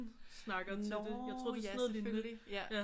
Snakker til det jeg tror det er sådan noget lignende